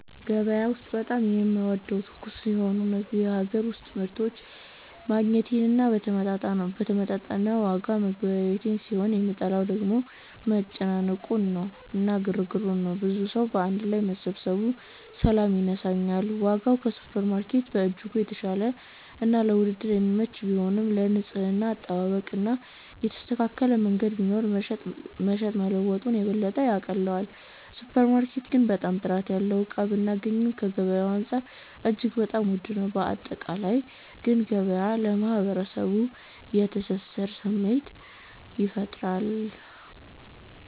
ገበያ ውስጥ በጣም የምወደው ትኩስ የሆኑ የሀገር ውስጥ ምርቶችን ማግኘቴን እና በተመጣጠነ ዋጋ መገበያየቴን ሲሆን የምጠላው ደግሞ መጨናነቁ እና ግርግሩን ነው። ብዙ ሰዉ ባንድ ላይ መሰባሰቡ ሰላም ይነሳኛል። ዋጋው ከሱፐርማርኬት በእጅጉ የተሻለና ለድርድር የሚመች ቢሆንም፣ የንጽህና አጠባበቅ እና የተስተካከለ መንገድ ቢኖር መሸጥ መለወጡን የበለጠ ያቀለዋል። ሱፐር ማርኬት ግን በጣም ጥራት ያለውን እቃ ብናገኚም ከገበያዉ አንፃር እጅግ በጣም ዉድ ነው። ባጠቃላይ ግን ገበያ ለማህበረሰቡ የትስስር ስሜት ይፈጥራል።